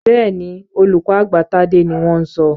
Bẹ́ẹ̀ni, olùkọ́ àgbà Tádé ni wọ́n ń sọ.